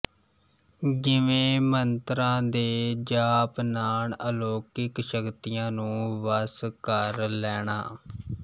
ਜਿਵੇਂ ਮੰਤਰਾਂ ਦੇ ਜਾਪ ਨਾਲ ਅਲੌਕਿਕ ਸ਼ਕਤੀਆਂ ਨੂੰ ਵਸ ਕਰ ਲੈਣਾ